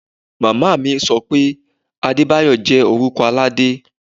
Mama mi so pé Adebayo jẹ́ orúkọ Aládé.